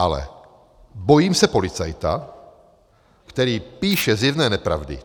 Ale bojím se policajta, který píše zjevné nepravdy.